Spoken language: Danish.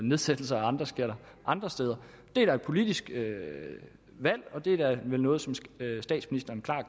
nedsættelser af skatter andre steder det er da et politisk valg og det er vel noget som statsministeren klart